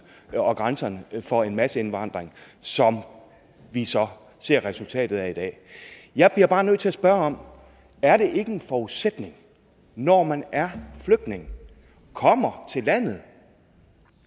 og grænserne for en masseindvandring som vi så ser resultatet af i dag jeg bliver bare nødt til at spørge er det ikke en forudsætning når man er flygtning og kommer til landet